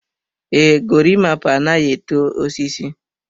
Ee, gorimapa anaghị eto osisi.